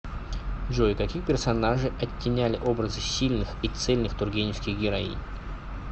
джой каких персонажей оттеняли образы сильных и цельных тургеневских героинь